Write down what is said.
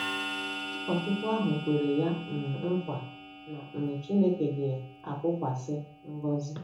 Ụkọchukwu ahụ kwere ya um nkwa na um Chineke ga-awụkwasị ngọzi.